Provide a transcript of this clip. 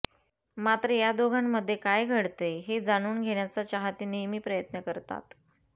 मात्र या दोघांमध्ये काय घडतंय हे जाणून घेण्याचा चाहते नेहमी प्रयत्न करतात